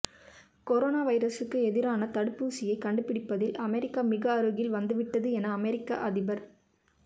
corona வைரசுக்கு எதிரான தடுப்பு ஊசியை கண்டுபிடிப்பதில் அமெரிக்கா மிக அருகில் வந்துவிட்டது என அமொிக்க அதிபர்